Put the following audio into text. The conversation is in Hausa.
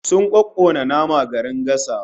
Sun kokkona nama garin gasawa